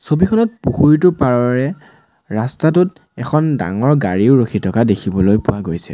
ছবিখনত পুখুৰীটোৰ পাৰৰে ৰাস্তাটোত এখন ডাঙৰ গাড়ীও ৰখি থকা দেখিবলৈ পোৱা গৈছে।